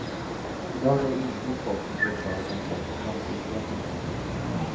Idag är det inhyrt folk som ska uttala sig om klubbens långsiktiga filosofi.